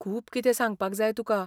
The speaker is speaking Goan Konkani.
खूब कितें सांगपाक जाय तुका.